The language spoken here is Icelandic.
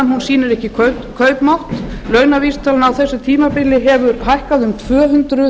launavísitalan sýnir ekki kaupmátt launavísitalan á þessu tímabili hefur hækkað um tvö hundruð